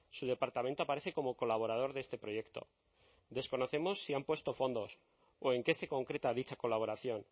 su departamento aparece como colaborador de este proyecto desconocemos si han puesto fondos o en qué se concreta dicha colaboración